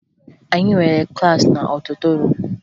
Anyị nwere klaasị n'ọdịtoruum